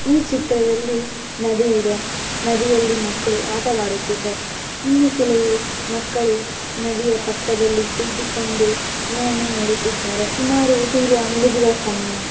ಈ ಚಿತ್ರದಲ್ಲಿ ನದಿ ಇದೆ ನದಿಯಲ್ಲಿ ಮಕ್ಕಳು ಆಟವಾಡುತ್ತಿವೆ ಇನ್ನು ಕೆಲವು ಮಕ್ಕಳು ನದಿಯ ಪಕ್ಕದಲ್ಲಿ ಕುಳಿತುಕೊಂಡು ಏನನ್ನೋ ನೋಡುತ್ತಿದ್ದಾರೆ ಸುಮಾರು ಸೂರ್ಯ ಮುಳುಗುವ ಸಮಯ.